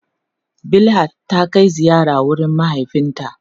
Bilhat ta kai ziyara wurin mahaifinta.